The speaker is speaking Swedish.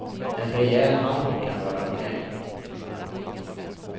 En rejäl hambo kan vara okej.